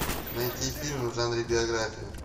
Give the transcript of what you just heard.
найти фильмы в жанре биография